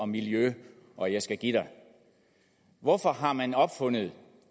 miljø og jeg skal give dig hvorfor har man opfundet